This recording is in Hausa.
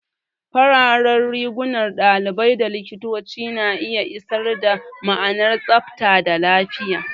Fararen rigunan ɗalibai da likitoci na iya isar da ma'anar tsabta da lafiya.